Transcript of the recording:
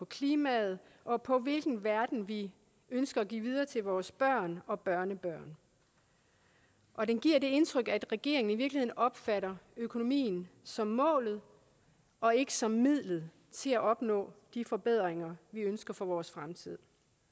klimaet og på hvilken verden vi ønsker at give videre til vores børn og børnebørn og den giver det indtryk at regeringen i virkeligheden opfatter økonomien som målet og ikke som midlet til at opnå de forbedringer vi ønsker for vores fremtid